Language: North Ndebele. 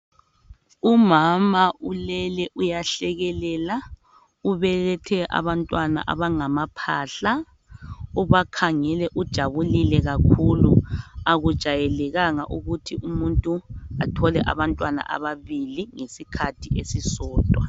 Umama ulele uyahlekelela, ubelethe abantwana abangamaphahla. Ubakhangele ujabulile kakhulu, akujayelekanga ukuthi umuntu athole abantwana ababili ngesikhathi esisodwa.